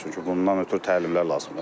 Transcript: Çünki bundan ötrü təlimlər lazımdır.